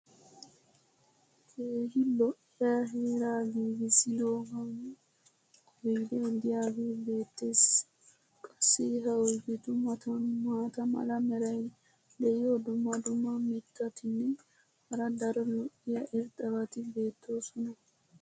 keehi lo'iya heeraa giiggissidoogaan oydee diyaagee beetees. qassi ha oydetu matan maata mala meray diyo dumma dumma mitatinne hara daro lo'iya irxxabati beetoosona.